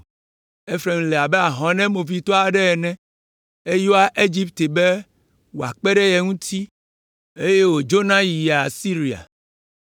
“Efraim le abe ahɔnɛ movitɔ aɖe ene, eyɔa Egipte be wòakpe ɖe ye ŋuti, eye wòdzona yia Asiria.